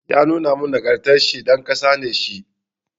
Ya nuna nagartaccen ɗan ƙasa ne shi.